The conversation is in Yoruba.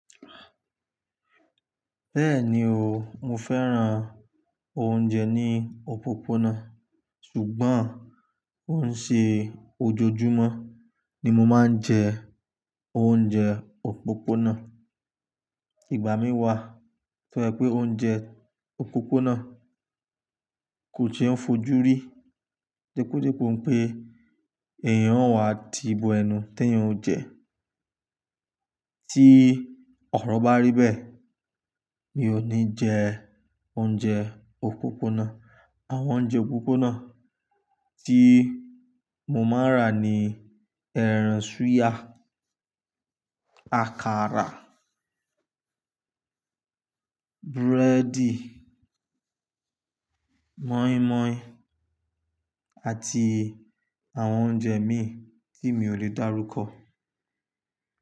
Bẹ́ẹ̀ni o, mo fẹ́ràn oúnjẹ ní òpópónà, ṣùgbọ́n kòun ṣe ojoojúmọ́ ni mo máa ń jẹ oúnjẹ òpópónà. Ìgbà mí wà fún ẹ pé oúnjẹ òpópónà kò jẹ́ fojú rí depódepó pé èèyàn ó wa ti bo ẹnu tẹ́yìn o jẹ. Tí ọ̀rọ̀ bá rí bẹ́ẹ̀, mi ò ní jẹ oúnjẹ òpópónà. Àwọn oúnjẹ òpópónà tí mo n máa rà ni ẹran súyà, àkàrà, búrẹ́dì, mọ́ímọ́í àti àwọn oúnjẹ mìíràn tí mi ò lè dárúkọ.